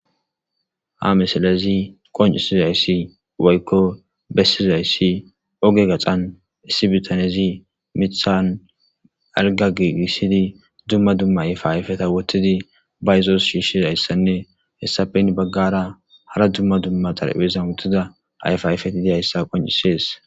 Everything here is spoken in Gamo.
Ha misilezi qoncisizayssi woykko bessizayssi oge gaxan issi bitanezi mithan alga giigissidi dumma dumma ayfayfeta wotidi bayzoos shiishshizayssanne hessafen baggara hara dumma dumma xarphezan wodtida ayfayfetidiyayssa qoncisees.